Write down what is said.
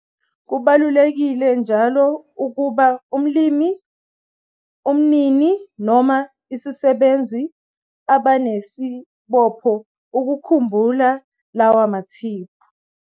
Kubalulekile njalo ukuba umlimi, umnini noma isisebenzi abanesibopho ukukhumbula lawa mathiphu.